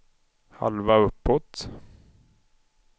halva uppåt